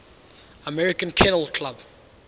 american kennel club